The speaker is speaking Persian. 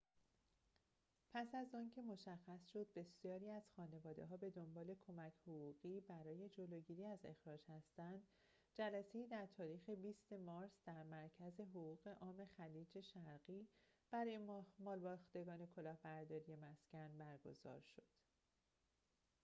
پس از آنکه مشخص شد بسیاری از خانواده‌ها به دنبال کمک حقوقی برای جلوگیری از اخراج هستند جلسه‌ای در تاریخ ۲۰ مارس در مرکز حقوق عام خلیج شرقی برای مالباختگان کلاهبرداری مسکن برگزار شد